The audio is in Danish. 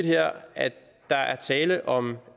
her at der er tale om